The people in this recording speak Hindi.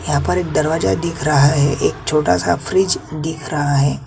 यहाँ पर एक दरवाजा दिख रहा है एक छोटा सा फ्रिज दिख रहा है।